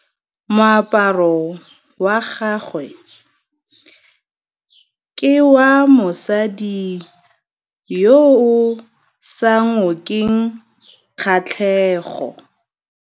Moaparô wa gagwe ke wa mosadi yo o sa ngôkeng kgatlhegô.